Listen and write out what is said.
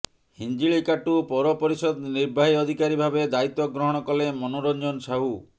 ହିିଞ୍ଜିଳିକାଟୁ ପୌରପରିଷଦ ନିର୍ବାହୀ ଅଧିକାରୀ ଭାବେ ଦାୟିତ୍ୱ ଗ୍ରହଣ କଲେ ମନୋରଂଜନ ସାହୁ